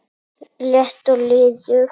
létt og liðug